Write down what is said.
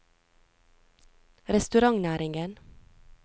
restaurantnæringen